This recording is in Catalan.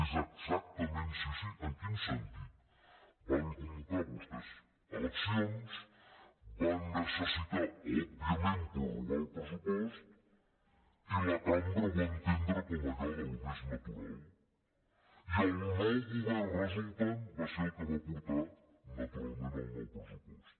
és exactament sí sí en quin sentit van convocar vostès eleccions van necessitar òbviament prorrogar el pressupost i la cambra ho va entendre com allò més natural i el nou govern resultant va ser el que va portar naturalment el nou pressupost